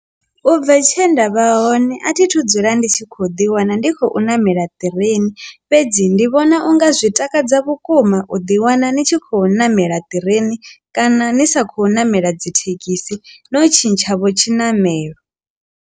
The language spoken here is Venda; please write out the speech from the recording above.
Ubva tshe nda vha hone a thi thu dzula ndi tshi khou ḓi wana ndi khou namela ṱireni fhedzi ndi vhona unga zwi takadza vhukuma u ḓi wana ni tshi khou namela ṱireni kana ni sa khou namela dzi thekhisi na u tshintshavho tshinamelo.